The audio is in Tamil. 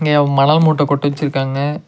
இங்க மணல் மூட்ட கொட் வெச்சுருக்காங்க.